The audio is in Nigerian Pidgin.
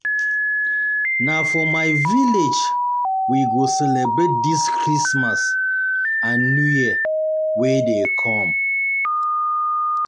Na for my village we go celebrate dis Christmas celebrate dis Christmas and new year wey dey come.